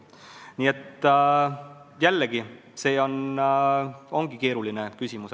Nii et jällegi, see ongi keeruline küsimus.